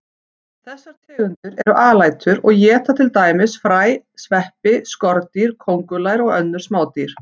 Þessar tegundir eru alætur og éta til dæmis fræ, sveppi, skordýr, kóngulær og önnur smádýr.